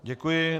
Děkuji.